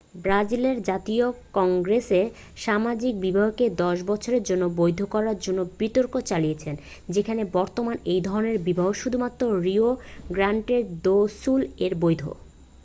ব্রাজিলের জাতীয় কংগ্রেস সামাজিক বিবাহকে 10 বছরের জন্য বৈধ করার জন্য বিতর্ক চালিয়েছে যেখানে বর্তমানে এই ধরনের বিবাহ শুধুমাত্র রিও গ্র্যান্ডে দো সুল-এ বৈধ